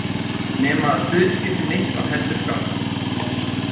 Nema að hlutskipti mitt var heldur skárra.